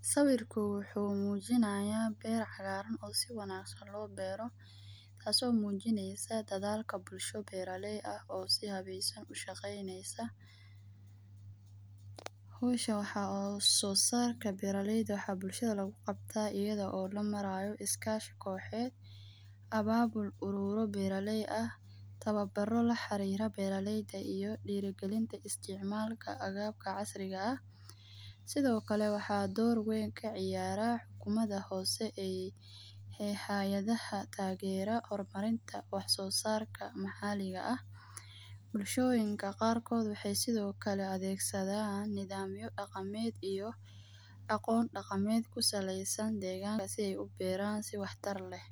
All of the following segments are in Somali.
Sawirko wuxu mujinaya beer cagaran oo si wanagsaan loo beero taaso mujinayso dadalka bulsho beera lay ah oo si habeesan ushaqanysa. Meshan waxa so sarka beera layda bulshada lagu qabtaa ayadho lamarayo iskashi kooxyeed ababul urora beera lay aah tawabaro laxariro beeralayda iyo dirigalinta isticmalka agabka casirga ah. Sidho kale waxa dawr weyn kaciyara umada hoose ee hayadhaha tageero hormarinta wax so sarka mahaliga aah. Bulshoyinka qaar kodhi waxay sidho kale adegsadhan nidhamyo daqameed iyo aqoon daqameet kusalaysan degankasi si ay uberaan si wax taar leeh.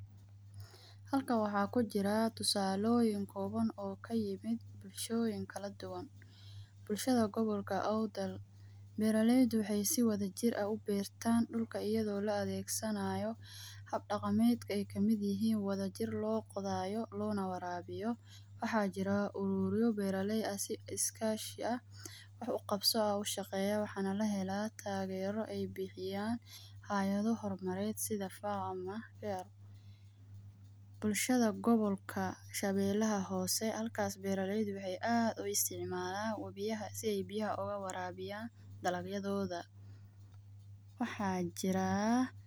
Halkaan waxa kujira tusaloyiin kowaan oo kayamid bulshoyin kaladuwan bulshada qobolka aqudaran. Berralayda sidha waxa jir waxay u beertan dulka ayadho loo adegsanayo habdaqameedka ay kamid yihiin si wada jiir loo qodhayo lona warabiyo. Waxa jira uroro beer lay aah si iskashi aah wax uqabso ushaqeyo waxana lahela tageero ay bixi yaan hayadho hormared sidha Farm aah. Bulshada qobolka shabelaha hoose halkaas beer layda waxay aad ugu isticmala wawiyaha si ay biyaha oga warabiyan dalagayadhodha.